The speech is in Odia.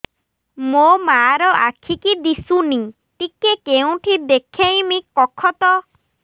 ମୋ ମା ର ଆଖି କି ଦିସୁନି ଟିକେ କେଉଁଠି ଦେଖେଇମି କଖତ